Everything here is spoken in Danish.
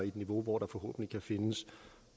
et niveau hvor der forhåbentlig kan findes